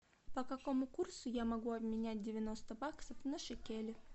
по какому курсу я могу обменять девяносто баксов на шекели